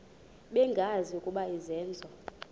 bengazi ukuba izenzo